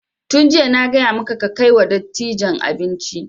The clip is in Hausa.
Tun jiya na gaya maka kai kai wa dattijan abinci!